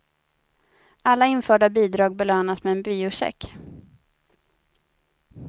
Alla införda bidrag belönas med en biocheck.